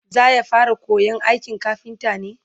zaya fara koyan aikin kafinta ne?